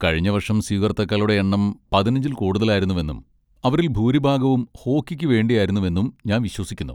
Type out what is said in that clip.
കഴിഞ്ഞ വർഷം സ്വീകർത്താക്കളുടെ എണ്ണം പതിനഞ്ചിൽ കൂടുതലായിരുന്നുവെന്നും അവരിൽ ഭൂരിഭാഗവും ഹോക്കിക്ക് വേണ്ടിയുമായിരുന്നുവെന്നും ഞാൻ വിശ്വസിക്കുന്നു.